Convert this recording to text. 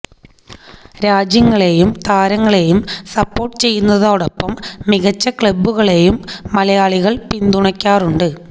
രാജ്യങ്ങളെയും താരങ്ങളെയും സപ്പോര്ട്ടു ചെയ്യുന്നതിനൊപ്പം മികച്ച ക്ലബുകളെയും മലയാളികള് പിന്തുണയ്ക്കാറുണ്ട്